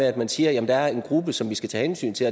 at man siger at der er en gruppe som vi skal tage hensyn til